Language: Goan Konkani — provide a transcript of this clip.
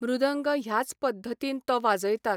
मृदंग ह्याच पद्दतीन तो वाजयतात.